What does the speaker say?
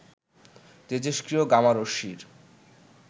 তেজস্ক্রিয় gamma রশ্মির